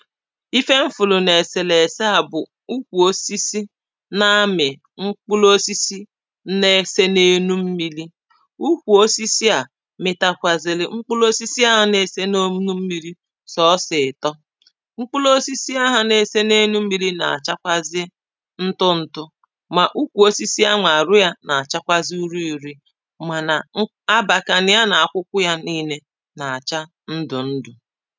Ife m fụlụ na eselese a bụ̀ ukwu osisi na amị̀ mkpụlụ osisi na-ese na elu mmili ukwu osisi à mịtakwazili mkpụlụ osisi a na-ese na elu mmili sọsọ ịtọ mkpụlụ osisi ahụ na-ese na elu mmili na-achakwazị ntụ ntụ ma ukwu osisi a nwa arụ ya na-achakwazị uri uri mana m abakana ya na akwụkwọ ya niine na-acha ndụ ndụ̄